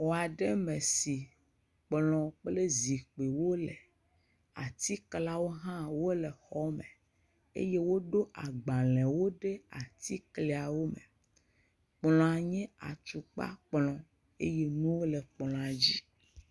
Xɔ aɖe me si kplɔ kple zikpuiwo le. Atiklawo hã le xɔ me eye woɖo agbalewo ɖe atiklawo me. Kplɔa nye atukpa kplɔ eye nuwo le kplɔa dzi.